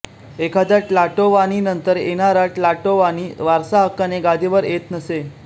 एखाद्या ट्लाटोवानीनंतर येणारा ट्लाटोवानी वारसाहक्काने गादीवर येत नसे